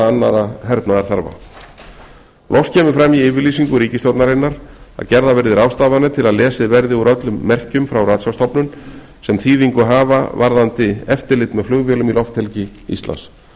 annarra hernaðarþarfa loks kemur fram í yfirlýsingu ríkisstjórnarinnar að gerðar verði ráðstafanir til að lesið verði úr öllum merkjum frá ratsjárstofnun sem þýðingu hafa varðandi eftirlit með flugvélum í lofthelgi íslands